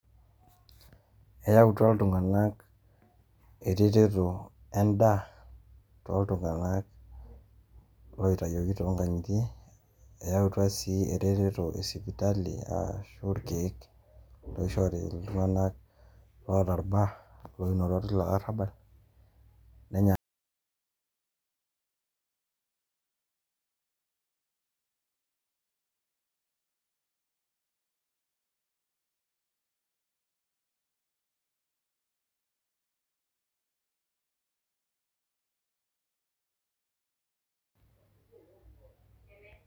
eyautua iltunganak eretoto edaa. tooltunganak oitayioki too nkang'itie, eyautua sii eretoto e sipitali, oorkeek. naabakieki iltunganak oota irbaa. ore ina olong' teilo arabal[pause.